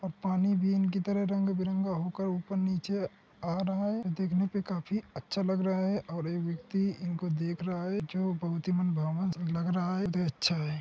अब पानी भी इनकी तरा रंग बिरंगा होकर ऊपर नीचे आ रहा है | देखने पे काफी अच्छा लग रहा है और एह व्यक्ति इनको देख रहा है जो बोहत ही मनभावन लग रहा रहा है | अच्छा है।